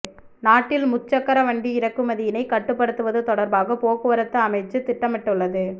நாட்டில் முச்சக்கர வண்டி இறக்குமதியினை கட்டுப்படுத்துவது தொடர்பாக போக்குவரத்து அமைச்சு திட்டமிட்டுள்ளது